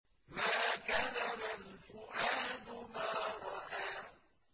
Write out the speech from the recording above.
مَا كَذَبَ الْفُؤَادُ مَا رَأَىٰ